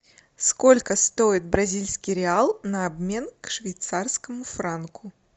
сколько стоит бразильский реал на обмен к швейцарскому франку